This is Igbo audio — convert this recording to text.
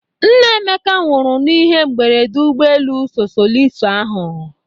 Nna Emeka nwụrụ na ihe mberede ụgbọ elu sosoliso ahụ.